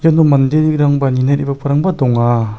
iano manderangba nina re·bagiparangba donga.